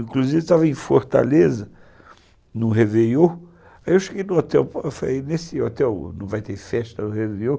Inclusive estava em Fortaleza, no Réveillon, aí eu cheguei no hotel e falei, nesse hotel não vai ter festa no Réveillon?